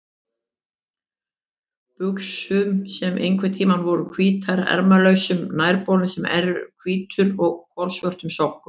buxum sem einhverntíma voru hvítar, ermalausum nærbol sem enn er hvítur og kolsvörtum sokkum.